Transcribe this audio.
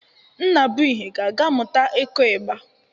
Nnabụihe ga-aga mụta ịkụ ịgba.